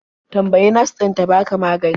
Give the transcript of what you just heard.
Tambayi nas ɗin ta baka magani.